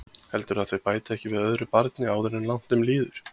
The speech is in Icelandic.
Heldurðu að þau bæti ekki við öðru barni áður en langt um líður?